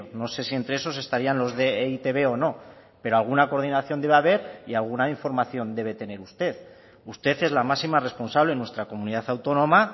no sé si entre esos estarían los de e i te be o no pero alguna coordinación debe haber y alguna información debe tener usted usted es la máxima responsable en nuestra comunidad autónoma